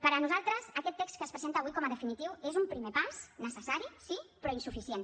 per a nosaltres aquest text que es presenta avui com a definitiu és un primer pas necessari sí però insuficient